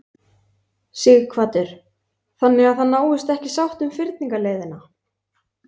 Sighvatur: Þannig að það náist ekki sátt um fyrningarleiðina?